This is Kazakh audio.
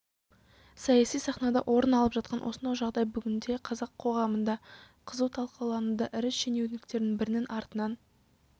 саяси сахнада орын алып жатқан осынау жағдай бүгінде қазақ қоғамында қызу талқылануда ірі шенеуніктердің бірінің артынан